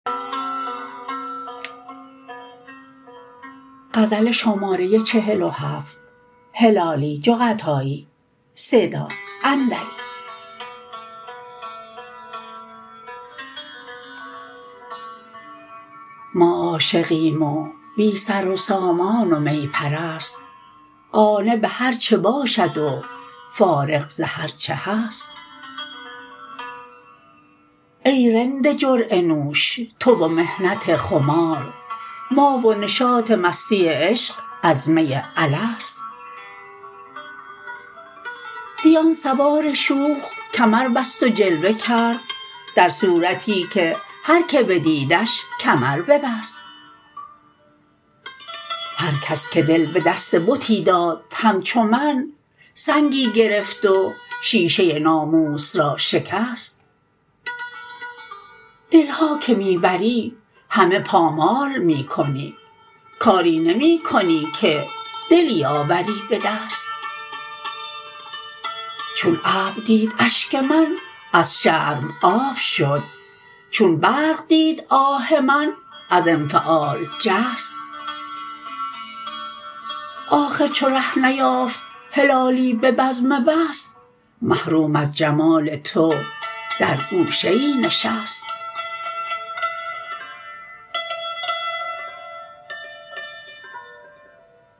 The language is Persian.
ما عاشقیم و بی سر و سامان و می پرست قانع بهر چه باشد و فارغ ز هر چه هست ای رند جرعه نوش تو و محنت خمار ما و نشاط مستی عشق از می الست دی آن سوار شوخ کمر بست و جلوه کرد در صورتی که هر که بدیدش کمر ببست هر کس که دل بدست بتی داد همچو من سنگی گرفت و شیشه ناموس را شکست دلها که می بری همه پامال می کنی کاری نمی کنی که دلی آوری بدست چون ابر دید اشک من از شرم آب شد چون برق دید آه من از انفعال جست آخر چو ره نیافت هلالی ببزم وصل محروم از جمال تو در گوشه ای نشست